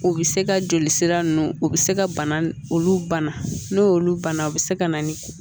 O bɛ se ka joli sira ninnu o bɛ se ka bana olu bana n'olu bana o bɛ se ka na ni